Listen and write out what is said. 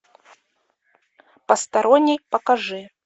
посторонний покажи